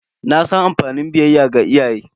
Na san amfani biyayya ga iyaye.